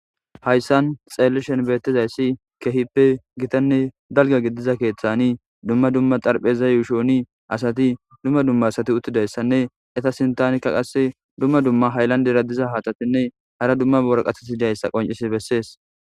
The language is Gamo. Hayssan xellishin bettdasyssi kehhipe giitane dalga gidiza kethaani dumma dumma xarppezay yuushshoni assati dumma dumma assati uttidaysane eeta sinthanika qaasse dumma dumma hayllandera diza haththatine haara dumma waraqatetine qonncisi beeses